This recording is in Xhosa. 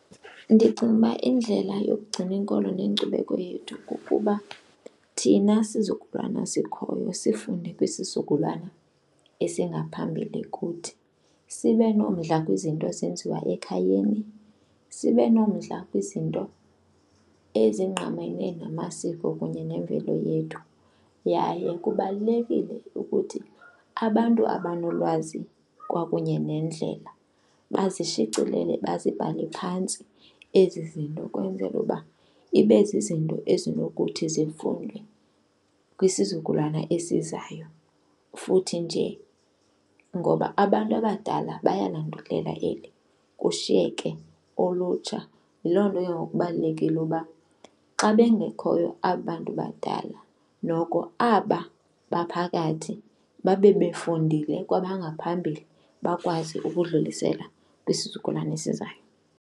Ndicinga uba indlela yokugcina inkolo nenkcubeko yethu kukuba thina sizukulwana sikhoyo sifunde kwisizukulwana esingaphambili kuthi sibe nomdla kwizinto ezenziwa ekhayeni, sibe nomdla kwizinto ezingqamene namasiko kunye nemvelo yethu. Yaye kubalulekile ukuthi abantu abanolwazi kwakunye nendlela bazishicilele bazibhale phantsi ezi zinto kwenzela uba ibe zizinto ezinokuthi zifundwe kwisizukulwana esizayo, futhi nje ngoba abantu abadala bayalandulela eli kushiyeke ulutsha. Yiloo nto ke ngoku kubalulekile uba xa bengekhoyo aba bantu badala, noko aba baphakathi babe befundile kwabangaphambili bakwazi ukudlulisela kwisizukulwana esizayo.